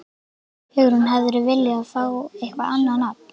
Hugrún: Hefðirðu viljað fá eitthvað annað nafn?